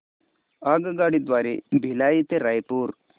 आगगाडी द्वारे भिलाई ते रायपुर